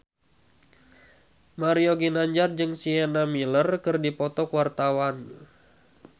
Mario Ginanjar jeung Sienna Miller keur dipoto ku wartawan